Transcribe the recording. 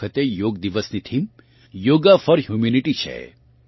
આ વખતે યોગ દિવસની થીમ યોગા ફોર હ્યુમેનીટી છે